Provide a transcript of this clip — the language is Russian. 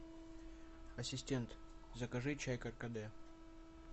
ассистент закажи чай каркаде